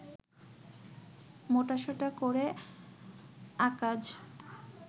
মোটাসোটা করে আঁকায